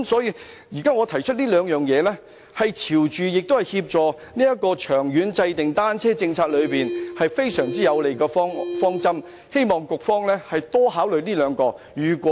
因此，現在我提出的這兩項建議，既朝着有關方向，亦能協助長遠制訂單車政策，是非常有利的方針，希望局方能多加考慮。